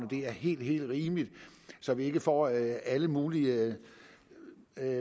er helt helt rimeligt så vi ikke får alle alle mulige